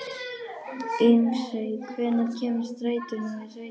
Ísmey, hvenær kemur strætó númer sautján?